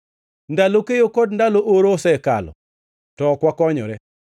“Ndalo keyo kod ndalo oro osekalo, to ok wakonyore.”